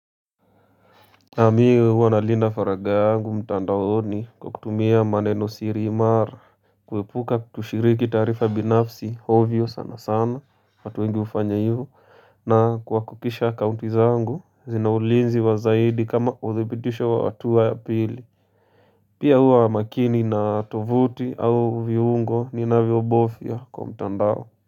Mimi huwa nalinda faragha yangu mtandaoni kwa kutumia maneno siri imara kuepuka kutoshiriki taarifa binafsi ovyo sana sana watu wengi hufanya hivyo na kwa kuhakikisha akaunti zangu zina ulinzi wa zaidi kama uthibitisho wa hatua ya pili Pia huwa makini na tovuti au viungo ninavyobofya kwa mtandao.